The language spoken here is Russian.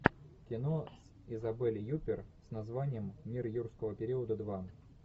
кино с изабель юппер с названием мир юрского периода два